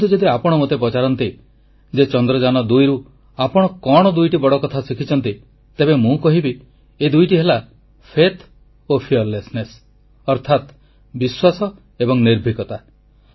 କିନ୍ତୁ ଯଦି ଆପଣ ମୋତେ ପଚାରନ୍ତି ଯେ ଚନ୍ଦ୍ରଯାନ2 ରୁ ଆପଣ କଣ ଦୁଇଟି ବଡ଼ କଥା ଶିଖିଛନ୍ତି ତେବେ ମୁଁ କହିବି ଏ ଦୁଇଟି ହେଲା ବିଶ୍ୱାସ ଏବଂ ନିର୍ଭୀକତା